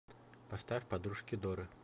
поставь подружки доры